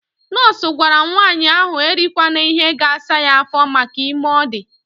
Nọọsụ gwara nwanyị ahụ erikwana ihe ga-asa ya afọ maka ime ọ dị.